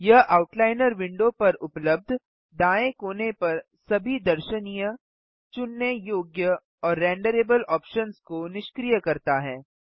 यह outliner window पर उबलब्ध दायें कोने पर सभी दर्शनीय चुनने योग्य और रेंडरेबल ऑप्शन्स को निष्क्रिय करता है